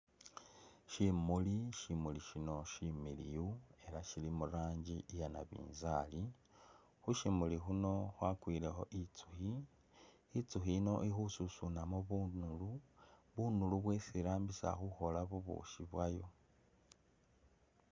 Shimuli shimuli shino shimiliyu ela shili mu ranji iya nabinzali ,khushimuli khuno khwakwilekho itsukhi ,itsukhi ino ikhususunamo bunulu bunulu bwesi irambisa khukhola bubusi bwayo.